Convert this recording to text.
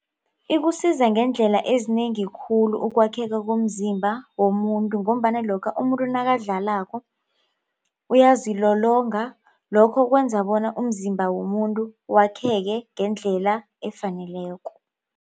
Ikusiza ngeendlela ezinengi khulu ukwakheka komzimba womuntu ngombana lokha umuntu nakadlalako uyazilolonga lokho kwenza bona umzimba womuntu wakheke ngendlela efaneleko.